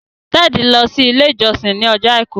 Ted lọ si ile ijọsin ní Ọjọ́ aìkú.